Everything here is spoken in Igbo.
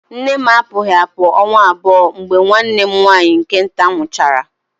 Nne m apụghị apụ ọnwa abụọ mgbe nwanne m nwaanyị nke nta nwụchaara